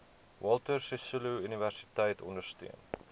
walter sisuluuniversiteit ondersteun